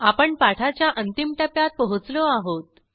आपण पाठाच्या अंतिम टप्प्यात पोहोचलो आहोत